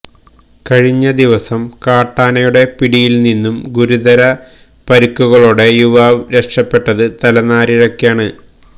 കഴിഞ്ഞ ദിവസം കാട്ടാനയുടെ പിടിയിൽനിന്നും ഗുരുതര പരിക്കുകളോടെ യുവാവ് രക്ഷപ്പെട്ടത് തലനാരിഴക്കാണ്